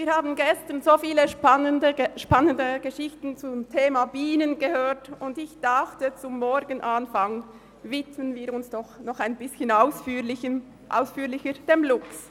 Wir haben gestern so viele spannende Geschichten zum Thema Bienen gehört, und ich dachte, zum Morgenanfang widmen wir uns noch ein bisschen ausführlicher dem Luchs.